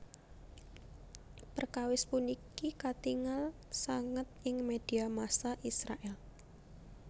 Perkawis puniki katingal sanget ing média massa Israèl